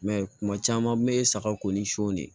I m'a ye kuma caman n bɛ saga ko ni son de ye